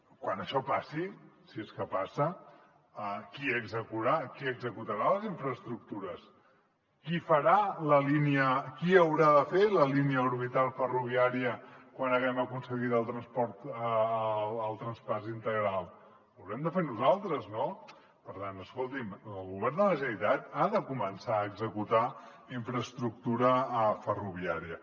quan això passi si és que passa qui executarà les infraestructures qui haurà de fer la línia orbital ferroviària quan haguem aconseguit el traspàs integral ho haurem de fer nosaltres no per tant escolti’m el govern de la generalitat ha de començar a executar infraestructura ferroviària